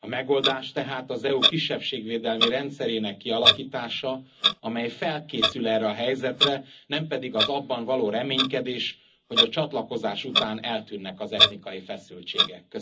A megoldás tehát az EU kisebbségvédelmi rendszerének kialakítása, amely felkészül erre a helyzetre, nem pedig az abban való reménykedés, hogy a csatlakozás után eltűnnek az etnikai feszültségek.